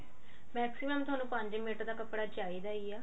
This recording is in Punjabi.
maximum ਤੁਹਾਨੂੰ ਪੰਜ ਮੀਟਰ ਤਾਂ ਕੱਪੜਾ ਚਾਹਿਦਾ ਹੀ ਏ